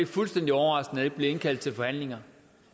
fuldstændig overraskende at der ikke bliver indkaldt til forhandlinger